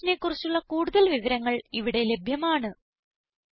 ഈ മിഷനെ കുറിച്ചുള്ള കുടുതൽ വിവരങ്ങൾ ഇവിടെ ലഭ്യമാണ്